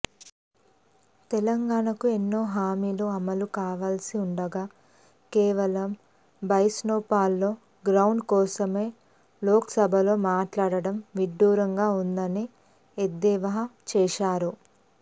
తెలంగాణకు ఎన్నో హామీలు అమలు కావాల్సి ఉండగా కేవలం బైసన్పోలోగ్రౌండ్ కోసమే లోక్సభలో మాట్లాడడం విడ్డూరంగా ఉందని ఎద్దేవా చేశారు